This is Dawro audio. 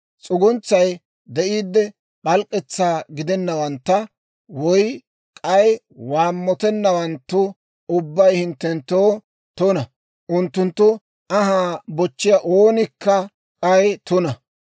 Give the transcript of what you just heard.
S'uguntsay de'iidde p'alk'k'etsaa gidennawantta woy k'ay, waammotennawanttu ubbay hinttenttoo tuna; unttunttu anhaa bochchiyaa oonikka k'ay tuna.